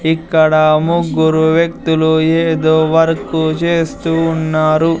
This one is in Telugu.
ఇక్కడ ముగ్గురు వ్యక్తులు ఏదో వర్కు చేస్తూ ఉన్నారు.